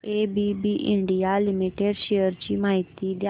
ABB India limited shares ची माहिती द्या